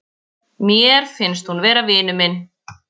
Mér finnst hún vera vinur minn.